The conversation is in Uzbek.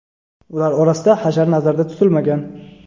ular orasida hashar nazarda tutilmagan.